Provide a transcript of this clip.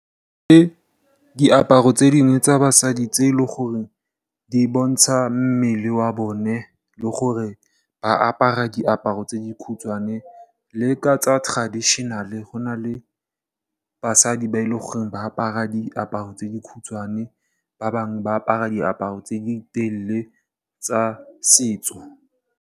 Ke diaparo tse dingwe tsa basadi tse e leng gore di bontsha mmele wa bone le gore ba apara diaparo tse di khutshwane, le ka tsa traditional go na le basadi ba e leng gore ba apara diaparo tse di khutshwane ba bangwe ba apara diaparo tse di telele tsa setso.